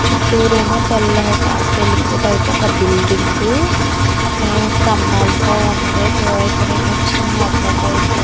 చూట్టూరు ఏమో తెల్లగా తెలుపు టైపు ఒక బిల్డింగు ఏ స్తంభాలతో వుంది ధో ఇక్కడేమో చిన్ని అద్దం టైపు --